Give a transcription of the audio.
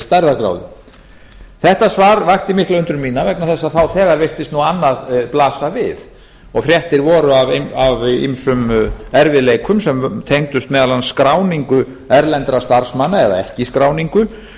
stærðargráðu þetta svar vakti mikla undrun mína vegna þess að þá þegar virtist annað blasa við og fréttir voru af ýmsum erfiðleikum sem tengdust meðal annars skráningu erlendra starfsmanna eða ekki skráningu sem